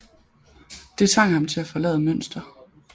Det tvang ham til at forlade Münster